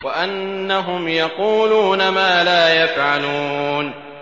وَأَنَّهُمْ يَقُولُونَ مَا لَا يَفْعَلُونَ